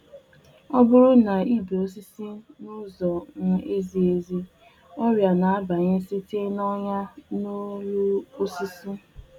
Ọbụrụ na ibetaghi osisi nkeoma, ọrịa na-esi n'ahụ osisi ahụ banye.